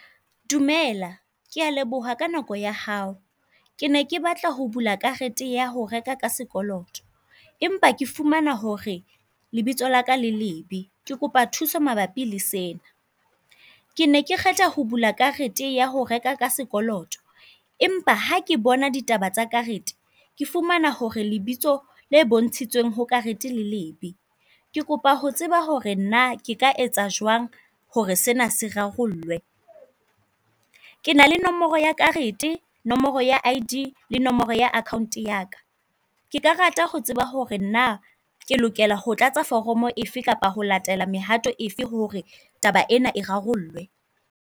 Dumela, ke a leboha ka nako ya hao. Ke ne ke batla ho bula karete ya ho reka ka sekoloto, empa ke fumana hore lebitso laka le lebe, ke kopa thuso mabapi le sena. Ke ne ke kgetha ho bula karete ya ho reka ka sekoloto, empa ha ke bona ditaba tsa karete ke fumana hore lebitso le bontshitshweng ho karete le lebe. Ke kopa ho tseba hore naa ke ka etsa jwang hore sena sa rarollwe. Ke na le nomoro ya karete, nomoro ya I.D, nomoro ya akhaonto yaka. Ke ka rata ho tseba hore naa ke lokela ho tlatsa foromo efe kapa ho latela mehato efe hore taba ena e rarollwe.